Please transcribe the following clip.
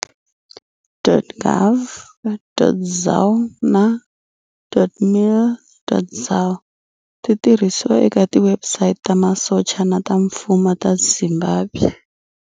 .gov.zw na.mil.zw ti tirhisiwa eka tiwebsite ta masocha na ta mfumo ta Zimbabwe.